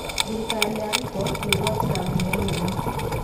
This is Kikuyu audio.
Thirikari ya ruto kwĩgwatĩra ngumo nene